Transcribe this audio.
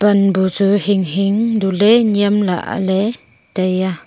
pan bu chu hinghing du le nyem lahle taiya.